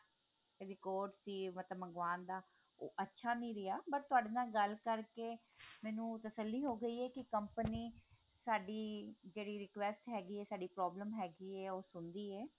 record ਸੀ ਮਤਲਬ ਮਨਵਾਉਣ ਦਾ ਉਹ ਅੱਛਾ ਨੀ ਰਿਹਾ but ਤੁਹਾਡੇ ਨਾਲ ਗੱਲ ਕਰਕੇ ਮੈਨੂੰ ਤਸੱਲੀ ਹੋਗੀ ਹੈ ਕੀ company ਸਾਡੀ ਜਿਹੜੀ request ਹੈਗਾ ਹੈ ਸਾਡੀ problem ਹੈਗੀ ਹੈ ਉਹ ਸੁਣਦੀ ਹੈ